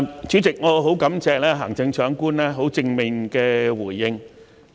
主席，我很感謝行政長官給予正面的回應。